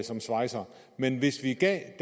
som svejser men hvis vi gav